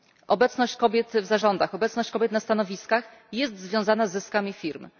Obecność kobiet w zarządach, obecność kobiet na stanowiskach jest związana z zyskami firmy.